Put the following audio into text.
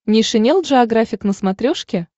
нейшенел джеографик на смотрешке